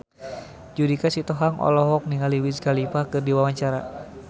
Judika Sitohang olohok ningali Wiz Khalifa keur diwawancara